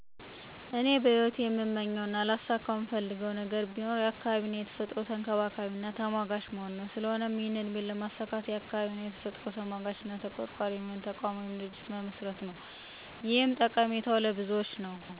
እኔ በሂወቴ እምመኘው እና ላሳከው እምፈልገው ነገር ቢኖር የአካባቢ እና የተፈጥሮ ተንከባካቢና ተሟጋች መሆን ነው። ስለሆነም ይህን ህልሜን ለማሳካት የአካባቢ እና የተፈጥሮ ተሟጋች እና ተቆርቋሪ የሚሆን ተቋም ወይም ድርጅት መመስረት ነው። ይኸን ለማድረግ ማሰቤ ባጭሩ ጠቀሜታው ለሁሉም የአዳም ዘር ነው ብየ አስባለው። አካባቢ እና ተፈጥሮን መንከባከብ ማለት ጤነኛ ትውልድን ማስቀጠል ማለት ነው። ይህን ግብ ለማሳካት እየወሰድኳቸው ያሉ እርምጃዎች በመጀመሪያ ደረጃ በአካባቢ ያሉ ሰወችን ንቃተ ህሊና ማስያዝ፣ የማህበራዊ መገናኛ ዘዴወች ቅስቀሳ መጀመር፥ ሀሳቡ እንዲደግፍ ማድረግ፤ በመቀጠል ደግሞ በተለያዩ በአካባቢ ጥበቃ የተሰማሩ ድርቶች፥ ተቋማት አና ተሟጋቾች ድጋፍ እና እገዛ አንዲያደርጉ መጠየቅ ወዘተ ናቸው።